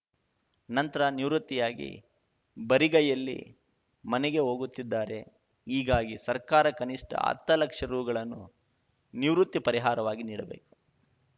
ನಂತರ ನಿವೃತ್ತಿಯಾಗಿ ಬರಿಗೈಯಲ್ಲಿ ಮನೆಗೆ ಹೋಗುತ್ತಿದ್ದಾರೆ ಹೀಗಾಗಿ ಸರ್ಕಾರ ಕನಿಷ್ಠ ಹತ್ತು ಲಕ್ಷ ರುಗಳನ್ನು ನಿವೃತ್ತಿ ಪರಿಹಾರವಾಗಿ ನೀಡಬೇಕು